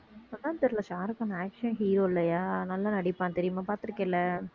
இப்பதான் தெரியலே Shah Rukh Khan action hero இல்லையா நல்லா நடிப்பான் தெரியுமா பார்த்திருக்கேல்ல